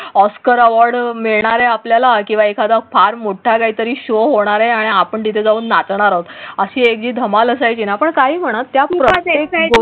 oscar award मिळणार आहे आपल्याला किंवा एखादा फार मोठा काही तरी शो होणार आहे आणि आपण तिथे जाऊन नाचणार आहोत अशी एक धमाल असायची ना पण काही म्हणा त्यामुळे.